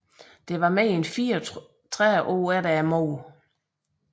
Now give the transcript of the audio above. Dette var mere end 34 år efter mordet